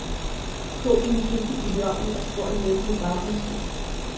Kog dine fisk i bouillonen, og du får en mættende baggrundssmag.